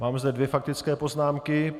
Mám zde dvě faktické poznámky.